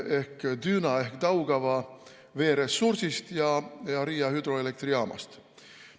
... ehk Düna ehk Daugava veeressursist ja Riia hüdroelektrijaamast.